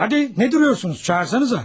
Hadi, nə duruyorsunuz, çağırsanızə!